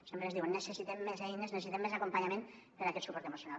sempre ens diuen necessitem més eines necessitem més acompanyament per a aquest suport emocional